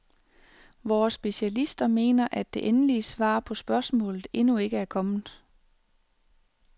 Vore specialister mener, at det endelige svar på spørgsmålet endnu ikke er kommet?